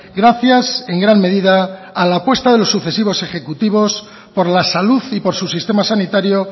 gracias en gran medida a la apuesta de los sucesivos ejecutivos por la salud y por su sistema sanitario